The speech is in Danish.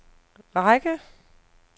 række